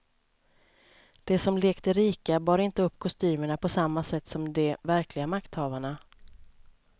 De som lekte rika bar inte upp kostymerna på samma sätt som de verkliga makthavarna.